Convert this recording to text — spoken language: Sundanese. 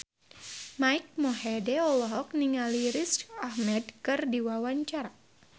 Mike Mohede olohok ningali Riz Ahmed keur diwawancara